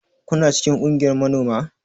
Kuna cikin kungiyar manoma?